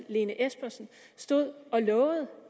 lene espersen stod og lovede